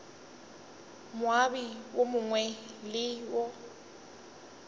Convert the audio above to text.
moabi yo mongwe le yo